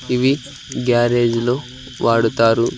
ఇవి గ్యారేజ్ లో వాడుతారు.